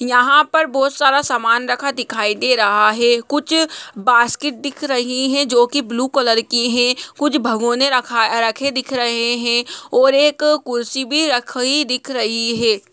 यहाँ पर बहुत सारा समान रखा दिखाई दे रहा है कुछ बास्केट दिख रही है जो कि ब्लू कलर की है कुछ भगोने रखा रखे दिख रहे है और एक कुर्सी भी रखी दिख रही है।